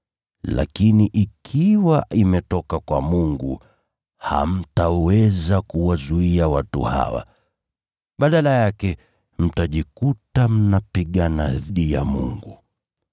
Lakini ikiwa imetoka kwa Mungu, hamtaweza kuwazuia watu hawa. Badala yake mtajikuta mnapigana na Mungu.”